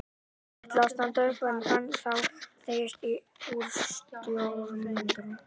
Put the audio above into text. Ég ætlaði að standa upp en fann þá hvernig teygðist úr stólörmunum.